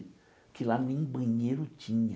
Que lá nem banheiro tinha.